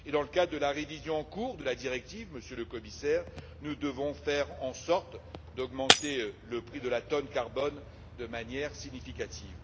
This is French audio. Dans le cadre de la révision en cours de la directive, Monsieur le Commissaire, nous devons faire en sorte d'augmenter le prix de la tonne de CO2 de manière significative.